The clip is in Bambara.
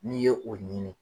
N'i ye o ɲinin